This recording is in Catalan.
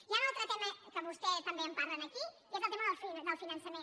hi ha un altre tema que vostè també en parla aquí que és el tema del finançament